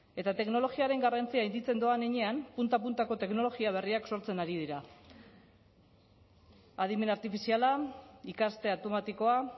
eta teknologiaren garrantzia handitzen doan heinean punta puntako teknologia berriak sortzen ari dira adimen artifiziala ikaste automatikoa